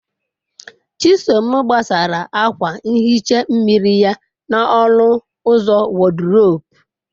Chisom gbasara akwa nhicha mmiri ya n'ọnụ ụzọ wọdrobu.